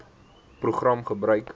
program gebruik